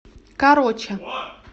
короча